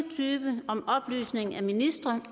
tyve om oplysning af ministre